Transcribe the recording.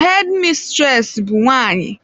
Hedi misiresi bụ nwaanyị.